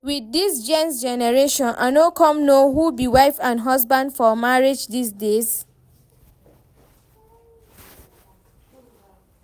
With dis genz generation, I no come know who be wife and husband for marriage dis days